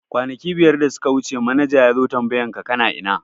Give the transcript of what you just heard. Kwanaki biyar da suka wuce manaja yazo tambayan ka kana ina?